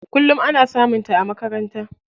Kullum ana samun ta a makaranta.